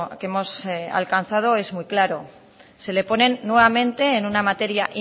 que hemos alcanzado es muy claro se le ponen nuevamente en una materia